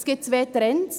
Es gibt zwei Trends.